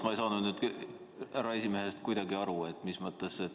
Ma ei saa nüüd härra esimehest kuidagi aru.